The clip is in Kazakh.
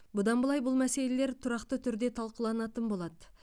бұдан былай бұл мәселелер тұрақты түрде талқыланатын болады